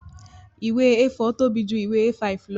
Ìwé A4 tóbi ju ìwé A5 lọ